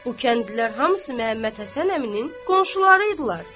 Bu kəndlilər hamısı Məhəmməd Həsən əminin qonşuları idilər.